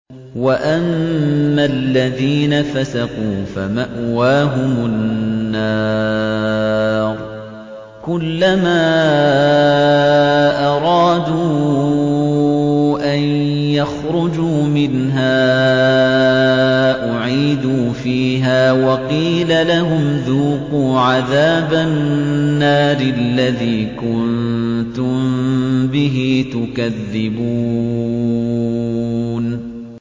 وَأَمَّا الَّذِينَ فَسَقُوا فَمَأْوَاهُمُ النَّارُ ۖ كُلَّمَا أَرَادُوا أَن يَخْرُجُوا مِنْهَا أُعِيدُوا فِيهَا وَقِيلَ لَهُمْ ذُوقُوا عَذَابَ النَّارِ الَّذِي كُنتُم بِهِ تُكَذِّبُونَ